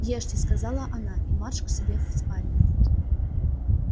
ешьте сказала она и марш к себе в спальню